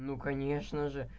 ну конечно же